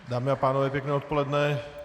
Dámy a pánové, pěkné odpoledne.